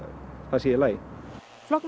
það sé í lagi